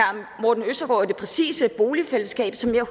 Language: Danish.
og er det præcise boligfællesskab som jeg